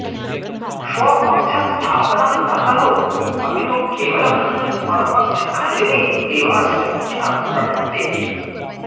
स्वपक्षस्थापनं न करोति अपितु केवलं परपक्षखण्डने एवास्य मुख्या प्रवृत्तिः